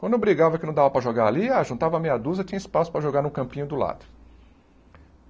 Quando brigava que não dava para jogar ali, ah juntava meia dúzia, tinha espaço para jogar no campinho do lado.